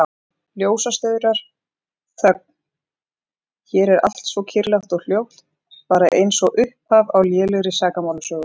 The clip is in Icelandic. Ljósastaurar, þögn, hér er allt svo kyrrlátt og hljótt, bara einsog upphaf á lélegri sakamálasögu.